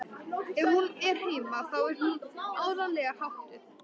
Ef hún er heima þá er hún áreiðanlega háttuð.